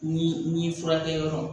Ni ni furakɛ yɔrɔ